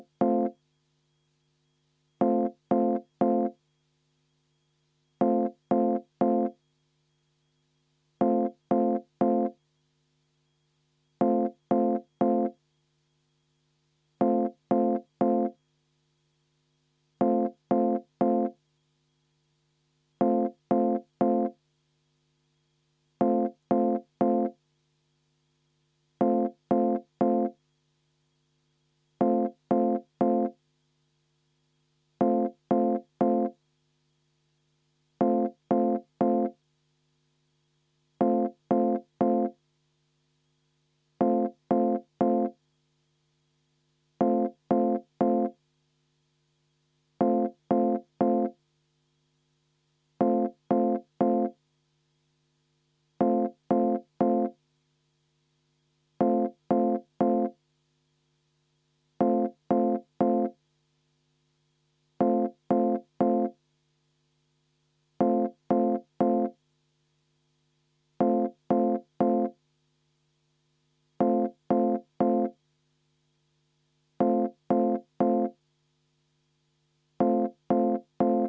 V a h e a e g